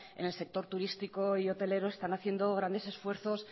en el sector turístico y hotelero están haciendo grandes esfuerzos